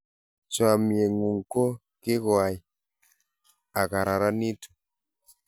chamiet ng'un ko kikoai a kararanitu